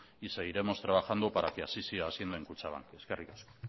y seguiremos trabajando para que así siga siendo en kutxabank eskerrik asko